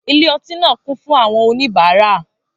Ilé ọtí náà kún fún àwọn oníbàárà